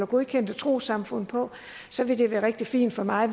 godkendte trossamfund på så ville det være rigtig fint for mig